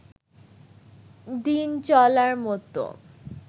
দিন চলার মত